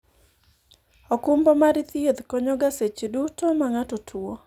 okumba mar thieth konyo ga seche duto ma ng'ato tuo